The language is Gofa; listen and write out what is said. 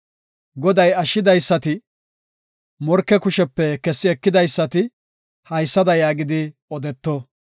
Goday ashshidaysati, morke kushepe kessi ekidaysati haysada yaagidi odeto.